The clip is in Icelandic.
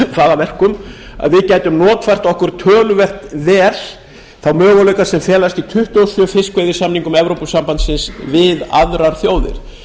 að verkum að við gætum notfært okkur töluvert vel þá möguleika sem felast í fiskveiðisamningum evrópusambandsins við aðrar þjóðir